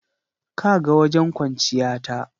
Ka ga wajen kwanciya ta.